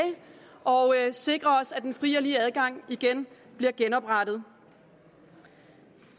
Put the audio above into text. og sikre at den frie og lige adgang bliver genoprettet